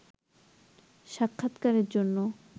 সাক্ষাৎকারের জন্য